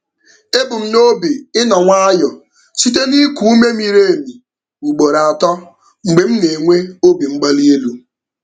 Ebu m n'obi ịnọ nwayọọ site n'iku ume miri emi ugboro atọ mgbe m na-enwe obi mgbali elu.